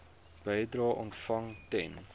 bedrae ontvang ten